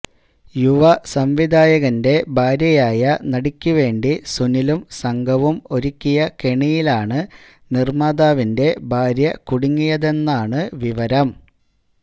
യുവസംവിധായകന്റെ ഭാര്യയായ നടിക്കുവേണ്ടി സുനിലും സംഘവും ഒരുക്കിയ കെണിയിലാണു നിര്മാതാവിന്റെ ഭാര്യ കുടുങ്ങിയതാണെന്നാണ് വിവരം